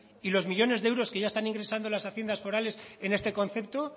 y los millónes de euros que ya están ingresando las haciendas forales en este concepto